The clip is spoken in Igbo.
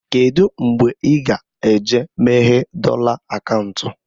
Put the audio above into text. Kedụ mgbe ị ga eje meghee dọla akaụntụ?